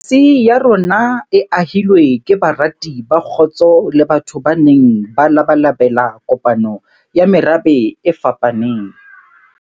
Demokrasi ya rona e ahilwe ke barati ba kgotso le batho ba neng ba labalabela kopano ya merabe e fapaneng.